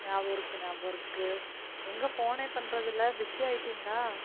நியாபகம் இருக்கு. நியாபகம் இருக்கு. எங்க phone னே பண்றது இல்ல busy யாகிட்டிங்களா?